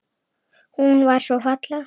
Hún var svo falleg.